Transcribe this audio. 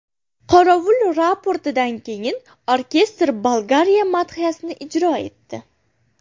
Qorovul raportidan keyin orkestr Bolgariya madhiyasini ijro etdi.